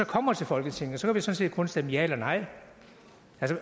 kommer til folketinget sådan set kun stemme ja eller nej